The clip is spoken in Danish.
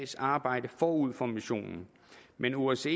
arbejde forud for missionen men osce